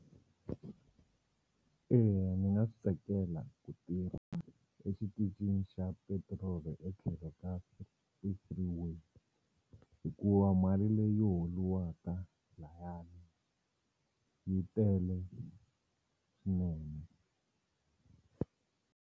Eya ni nga swi tsakela ku tirha exitichini xa petiroli etlhelo ka ti-freeway hikuva mali leyi holuwaka layani yi tele swinene.